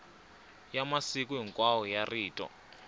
ya masiku hinkwawo ya rito